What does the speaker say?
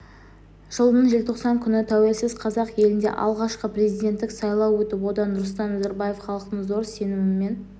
жылдың желтоқсан күні тәуелсіз қазақ елінде алғашқы президенттік сайлау өтіп онда нұрсұлтан назарбаев халықтың зор сенімімен